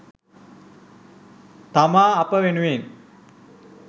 තමා අප වෙනුවෙන්